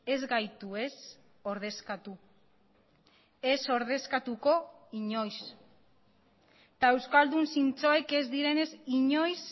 ez gaitu ez ordezkatu ez ordezkatuko inoiz eta euskaldun zintzoek ez direnez inoiz